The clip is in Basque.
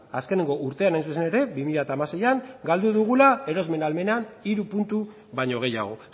azkeneko urtean hain zuzen ere bi mila hamaseian galdu dugula erosmen ahalmena hiru puntu baino gehiago